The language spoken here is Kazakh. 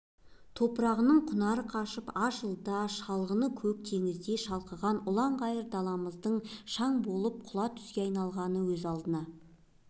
топырағының құнары қашып аз жылда шалғыны көк теңіздей шалқыған ұлан-ғайыр даламыздың шаң бораған құла түзге айналғаны өз алдына